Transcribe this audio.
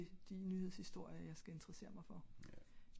til de nyheds historier jeg skal interesserer mig for